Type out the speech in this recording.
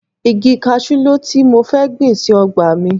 Igi kaṣú ló tí mo fẹ́ gbìn sí ọgbà mi